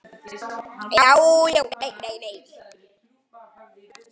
Já já og nei nei.